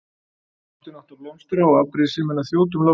Ástin átti að blómstra og afbrýðisemin að þjóta um loftið.